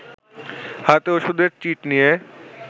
হাতে ওষুধের চিট নিয়ে